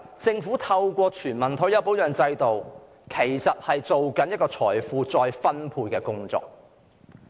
政府在推行全民退休保障制度時，其實是在進行財富再分配的工作。